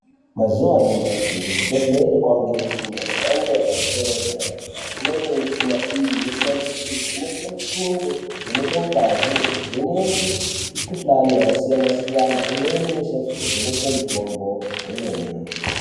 Mazuva anyamashi kuzvibhedhlera kwane michina yamhando yepadera dera imweni yemichina iyi inoshandiswe kuvheneka mitundo kuvenekan ngazi nekuvheneke mikuhlani yakasiyana siyana imweni inoshandiswe kuvheneke mitombo kwemene .